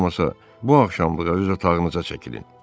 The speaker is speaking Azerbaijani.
Heç olmasa, bu axşamlıq özü otağınıza çəkilin.